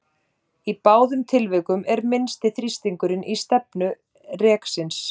Í báðum tilvikum er minnsti þrýstingur í stefnu reksins.